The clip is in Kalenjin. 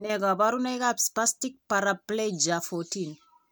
Nee kabarunoikab Spastic paraplegia 14?